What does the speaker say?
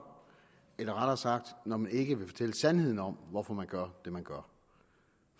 eller rettere sagt når man ikke vil fortælle sandheden om hvorfor man gør det man gør